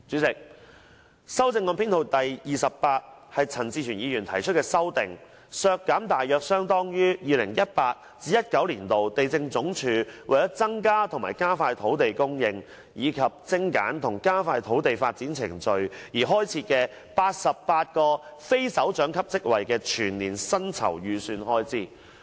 該修正案旨在"削減大約相當於 2018-2019 年度地政總署為增加和加快土地供應，以及精簡和加快土地發展程序而開設的88個非首長級職位的全年薪酬預算開支"。